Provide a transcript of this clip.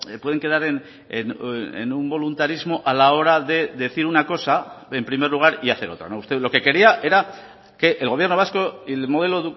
pueden quedar en un voluntarismo a la hora de decir una cosa en primer lugar y hacer otra usted lo que quería era que el gobierno vasco y el modelo